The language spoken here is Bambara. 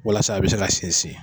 Walasa a bɛ se ka sinsin